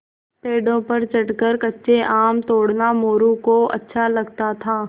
पेड़ों पर चढ़कर कच्चे आम तोड़ना मोरू को अच्छा लगता था